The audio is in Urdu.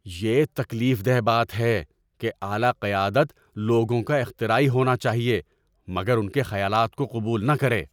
یہ تکلیف دہ بات ہے کہ اعلی قیادت لوگوں کا اختراعی ہونا چاہے مگر ان کے خیالات کو قبول نہ کرے۔